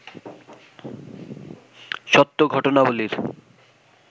সত্য ঘটনাবলির